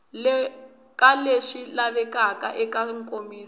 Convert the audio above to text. ka leswi lavekaka eka nkomiso